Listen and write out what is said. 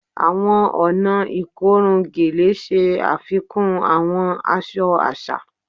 Awọn ọna ikorun Gele ṣe afikun awọn aṣọ aṣa